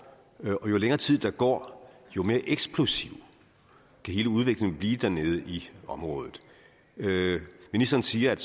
og jo længere tid der går jo mere eksplosiv kan hele udviklingen blive dernede i området ministeren siger at